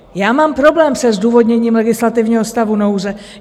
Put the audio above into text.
Já mám problém se zdůvodněním legislativního stavu nouze.